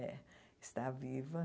É, está viva.